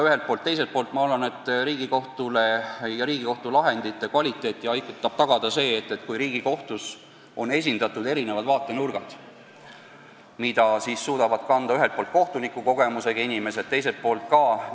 Teiselt poolt ma arvan, et Riigikohtu lahendite kvaliteeti aitab tagada see, kui Riigikohtus on esindatud erinevad vaatenurgad, mida ühelt poolt kannavad kohtunikukogemusega inimesed ja teiselt poolt siis teised inimesed.